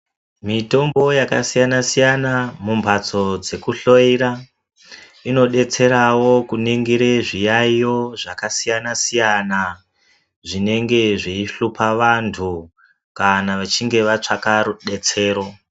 Mitombo yakasiyana-siyana, mumphatso dzekuhloyera, inodetserawo kuningire zviyaiyo zvakasiyana-siyana, zvinenge zveihlupha vantu, kana vechinge vatsvaka rudetsero .